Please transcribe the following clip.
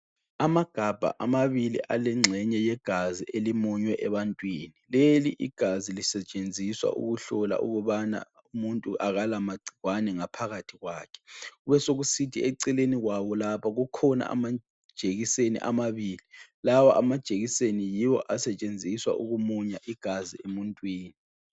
Amagabha amabili alengxenye yegazi elimunywe ebantwini. Leli igazi lisetshenziswa ukuhlola ukubana umuntu kalama gcikwane ngaphakathi kwakhe. Besekusithi eceleni kwawo lapha kukhona amajikiseni amabili. Lawa amajekiseni yiwo asetshenziswa ukumunya igazi emuntwini.